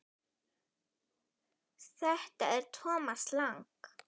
Þetta er Thomas Lang.